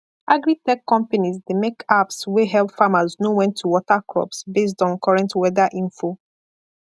agritech companies dey make apps wey help farmers know when to water crops based on current weather info